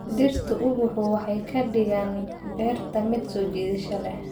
Dhirtu ubaxu waxay ka dhigaan beerta mid soo jiidasho leh.